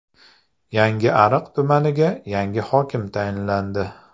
Yangiariq tumaniga yangi hokim tayinlandi.